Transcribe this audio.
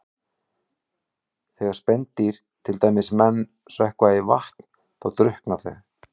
Þegar spendýr, til dæmis menn, sökkva í vatn þá drukkna þau.